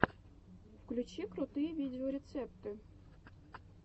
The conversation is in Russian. включи крутые видеорецепты